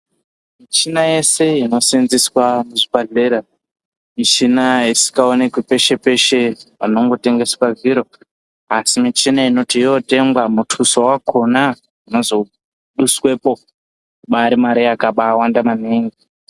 Michina yeshe inoseenzeswa muzvibhedhlera michina isikaonekwi peshe-peshe panongotengeswa zviro. Asi michina inoti yootengwa muthuso wakhona unozoduswepo, ubaari mare yakabaawanda maningi.